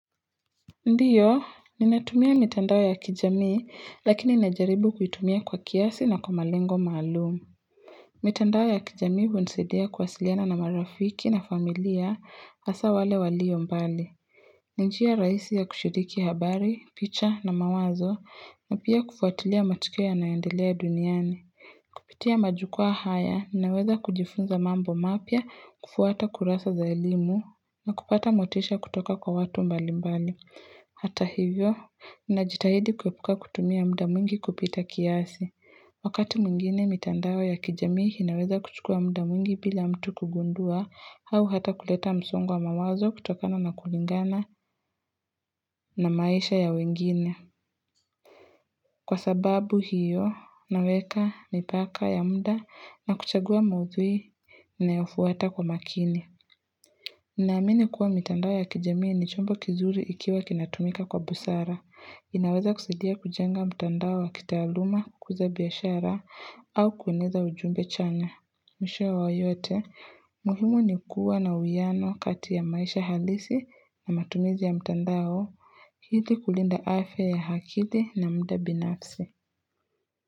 Ndiyo, ninatumia mitandao ya kijamii, lakini inajaribu kuitumia kwa kiasi na kwa malengo maalumu. Mitandao ya kijamii hunisadia kwasiliana na marafiki na familia, asa wale walio mbali. Ninjia rahisi ya kushiriki habari, picha na mawazo, na pia kufuatilia matukio nayondelea duniani. Pitia majukua haya, ninaweza kujifunza mambo mapia, kufuata kurasa za elimu, na kupata motisha kutoka kwa watu mbali mbali. Hata hivyo, inajitahidi kuyopuka kutumia mda mwingi kupita kiasi. Wakati mwingine mitandao ya kijamii inaweza kuchukua muda mwingi pila mtu kugundua hau hata kuleta msungwa mawazo kutokana na kulingana na maisha ya wengine. Kwa sababu hiyo, naweka nipaka ya muda na kuchagua maudhui na yofuata kwa makini. Inaamini kuwa mitandao ya kijamii ni chombo kizuri ikiwa kinatumika kwa busara. Inaweza kusaidia kujenga mtandao wa kitaluma kukuza biashara au kueneza ujumbe chana. Mwisho wa yote, muhimu ni kuwa na uyano kati ya maisha halisi na matumizi ya mtandao. Hidi kulinda afya ya akili na muda binafsi.